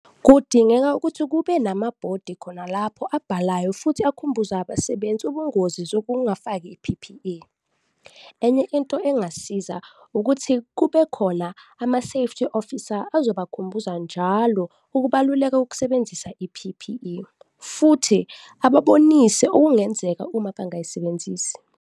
Kudingeka ukuthi kube namabhodi khona lapho abhalayo futhi akhumbuza abasebenzi ubungozi zokungafaki i-P_P_E. Enye into engasiza ukuthi kube khona ama-safety officer, azobakhumbuza njalo ukubaluleka kokusebenzisa i-P_P_E futhi ababonise okungenzeka uma bangayisebenzisi.